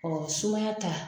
sumaya ta.